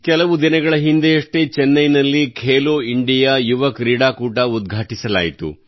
ಕೆಲವು ದಿನಗಳ ಹಿಂದೆಯಷ್ಟೇ ಚೆನ್ನೈನಲ್ಲಿ ಖೇಲೋ ಇಂಡಿಯಾ ಯುವ ಕ್ರೀಡಾಕೂಟ ಉದ್ಘಾಟಿಸಲಾಯಿತು